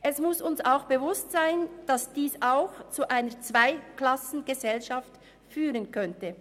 Es muss uns auch bewusst sein, dass dies zu einer Zweiklassengesellschaft führen könnte.